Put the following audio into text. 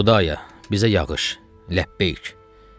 Xudaya, bizə yağış, Ləbbeyk.